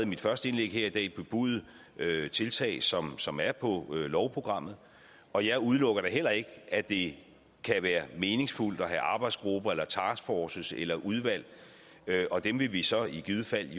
mit første indlæg her i dag bebudet tiltag som som er på lovprogrammet og jeg udelukker da heller ikke at det kan være meningsfuldt at have arbejdsgrupper taskforces eller udvalg og dem vil vi så i givet fald